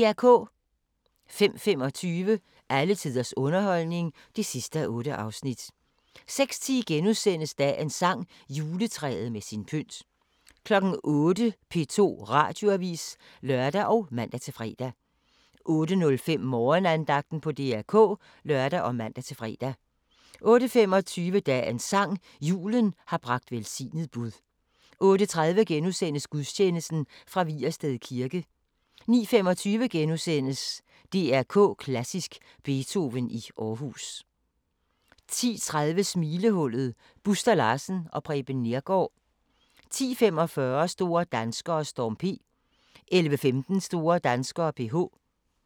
05:25: Alle tiders underholdning (8:8) 06:10: Dagens sang: Juletræet med sin pynt * 08:00: P2 Radioavis (lør og man-fre) 08:05: Morgenandagten på DR K (lør og man-fre) 08:25: Dagens sang: Julen har bragt velsignet bud 08:30: Gudstjeneste fra Vigersted Kirke * 09:25: DR K Klassisk: Beethoven i Aarhus * 10:35: Smilehullet – Buster Larsen og Preben Neergaard 10:45: Store danskere: Storm P 11:15: Store danskere: PH